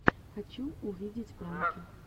хочу увидеть пранки